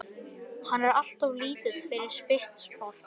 Hann er alltof lítill fyrir sitt sport.